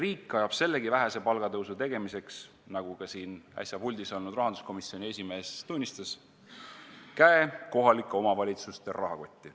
Riik ajab sellegi vähese palgatõusu jaoks – nagu äsja puldis olnud rahanduskomisjoni esimees tunnistas – käe kohalike omavalitsuste rahakotti.